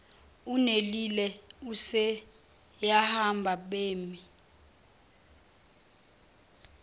unelille useyahamba bemi